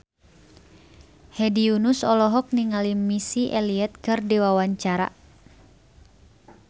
Hedi Yunus olohok ningali Missy Elliott keur diwawancara